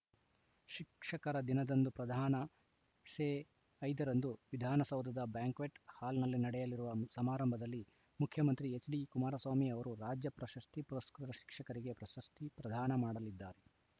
ಶಿಕ್ಷಕರ ದಿನದಂದು ಪ್ರದಾನ ಸೆ ಐದರಂದು ವಿಧಾನಸೌಧದ ಬ್ಯಾಂಕ್ವೆಟ್‌ ಹಾಲ್‌ನಲ್ಲಿ ನಡೆಯಲಿರುವ ಸಮಾರಂಭದಲ್ಲಿ ಮುಖ್ಯಮಂತ್ರಿ ಎಚ್‌ಡಿಕುಮಾರಸ್ವಾಮಿ ಅವರು ರಾಜ್ಯಪ್ರಶಸ್ತಿ ಪುರಸ್ಕೃತ ಶಿಕ್ಷಕರಿಗೆ ಪ್ರಶಸ್ತಿ ಪ್ರದಾನ ಮಾಡಲಿದ್ದಾರೆ